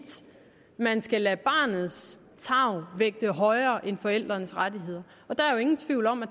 man skal lade barnets tarv vægte højere end forældrenes rettigheder og der er jo ingen tvivl om at